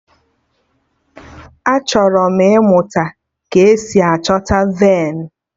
Achọrọ m ịmụta ka-esi achọta venu